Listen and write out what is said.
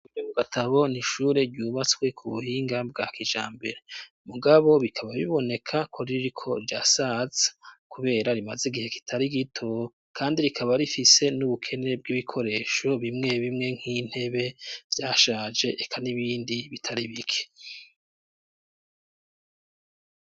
Gatabo ni ishure ryubatswe ku buhinga bwa kijambere. Mugabo bikaba biboneka ko ririko jrirasaza kubera rimaze igihe kitari gito kandi rikaba rifise n'ubukene bw'ibikoresho bimwe bimwe nk'intebe zashaje reka n'ibindi bitari bike.